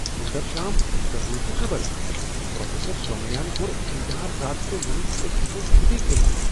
سٗندرشام، ژے٘ بوُزتھہٕ خبر ؟ پروفیسر سومیاہن کوٚر امتحان رد تہٕ ووٚنن أسۍ ہیکو چھٗٹی كرِتھ!